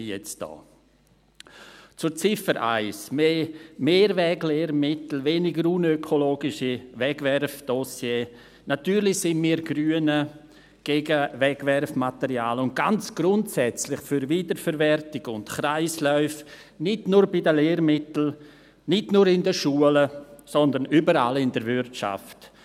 Zur Ziffer 1, mehr Mehrweglehrmittel, weniger unökologische Wegwerfdossiers: Natürlich sind wir Grünen gegen Wegwerfmaterial und ganz grundsätzlich für Wiederverwertung und Kreisläufe – nicht nur bei Lehrmitteln, nicht nur in den Schulen, sondern überall in der Wirtschaft;